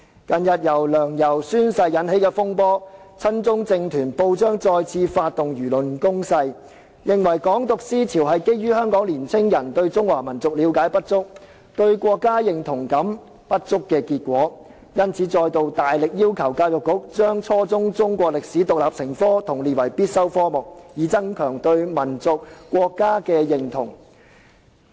近日由梁、游宣誓引起的風波，導致親中政團及報章再次發動輿論攻勢，認為"港獨"思潮是基於香港青年人對中華民族了解不足、對國家認同感不足，因而再度大力要求教育局規定初中中史獨立成科和將之列為必修科目，以增強對民族和國家的認同。